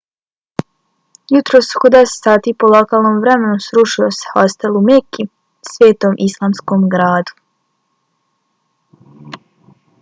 jutros oko 10 sati po lokalnom vremenu srušio se hostel u meki svetom islamskom gradu